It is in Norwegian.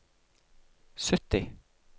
sytti